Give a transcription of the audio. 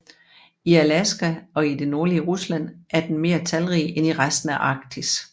I Alaska og i det nordlige Rusland er den mere talrig end i resten af Arktis